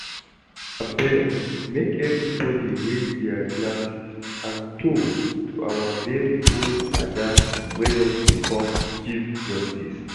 Abeg make everybody raise their glasses and toast to our very own Ada wey don become Chief Justice